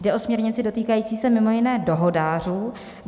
Jde o směrnici dotýkající se mimo jiné dohodářů.